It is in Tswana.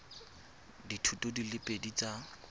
dithuto di le pedi tsa